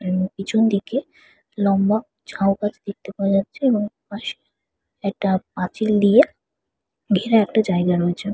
উম পিছন দিকে লম্বা ঝাউ গাছ দেখতে পাওয়া যাচ্ছে এবং ওপাশে একটা পাঁচিল দিয়ে ঘেরা একটা জায়গা রয়েছে।